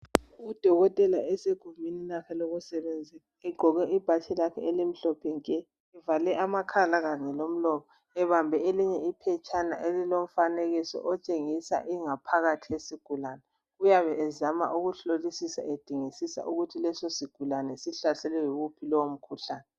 Udokotela esugumbini lakhe lokusebenza egqoke ibhatshi lakhe elimhlophe nke evale amakhala kanye lomlomo ubambe iphetshana elilomfanekiso otshengisa ingaphakathi yesigulane uyabe ezama ukuhlosisa edingisisa ukuthi leso sigulani sihlaselwe yiwuphi lowo mkhuhlane.